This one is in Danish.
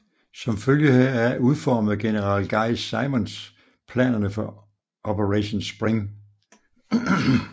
Som følge heraf udformede general Guy Simonds planerne for Operation Spring